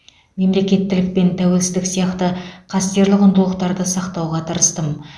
мемлекеттілік пен тәуелсіздік сияқты қастерлі құндылықтарды сақтауға тырыстым